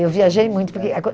Eu viajei muito porque